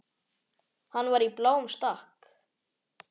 Hann var í bláum stakk.